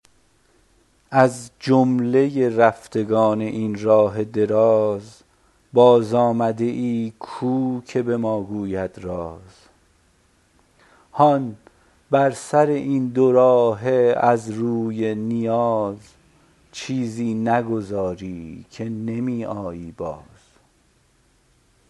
از جمله رفتگان این راه دراز بازآمده ای کو که به ما گوید راز هان بر سر این دو راهه از روی نیاز چیزی نگذاری که نمی آیی باز